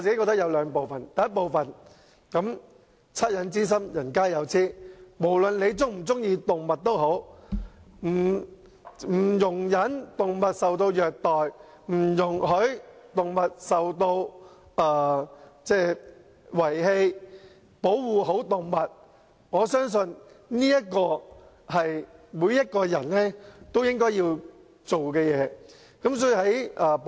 第一，惻隱之心，人皆有之，無論人們是否喜愛動物，我相信，不容忍動物受到虐待、不容許動物受到遺棄，以至好好保護動物，是每一個人都應做的事。